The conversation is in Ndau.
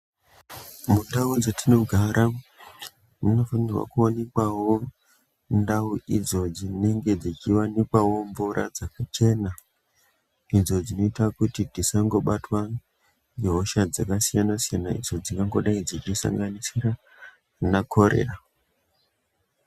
Mundau dzatinogara munofanikawo mundau idzodzo munenge kuchiwanikwa mvura yekuchena idzo dzinoita kuti tisangobatwa nehosha dzakasiyana-siyana idzo dzingangodai dzichisanganisira ngekorera.